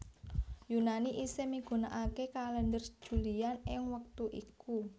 Yunani isih migunakaké Kalèndher Julian ing wektut iku